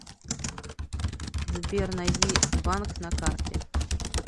сбер найди банк на карте